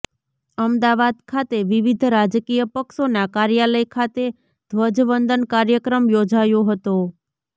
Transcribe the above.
અમદાવાદ ખાતે વિવિધ રાજકીય પક્ષોના કાર્યાલય ખાતે ધ્વજવંદન કાર્યક્રમ યોજાયો હતો